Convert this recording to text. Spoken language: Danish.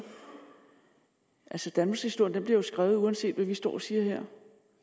jeg selv danmarkshistorien bliver jo skrevet uanset hvad vi står og siger her